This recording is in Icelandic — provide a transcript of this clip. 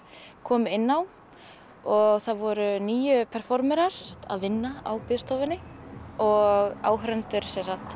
komu inn á og það voru níu performerar að vinna á biðstofunni og áhorfendur